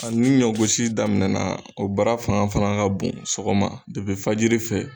A ni ɲɔ gosi daminɛ na o baara fanga fana ka bon sɔgɔma fajiri fɛ.